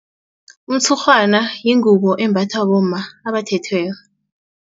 Umtshurhwana yingubo embathwa bomma abathethweko.